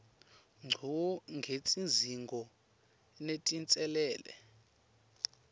ngco ngetidzingo netinselele